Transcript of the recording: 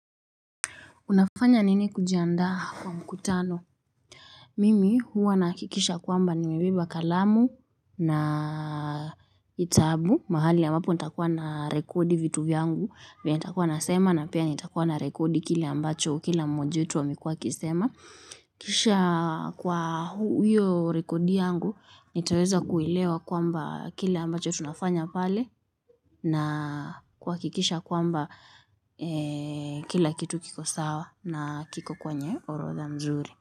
Unafanya nini kujiandaa kwa mkutano? Mimi huwa nahakikisha kwamba nimebeba kalamu nakitabu. Mahali ambapo nitakuwa na rekodi vitu vyangu. Venye nitakuwa nasema na pia nitakuwa na rekodi kile ambacho kila mmoja wetu amekuwa akisema. Kisha kwa hiyo rekodi yangu nitaweza kuelewa kwamba kile ambacho tunafanya pale. Na kuwakikisha kwamba kila kitu kiko sawa na kiko kwenye orodha mzuri.